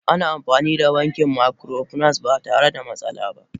Ana amfani da banki microfinance ba tare da matsala ba.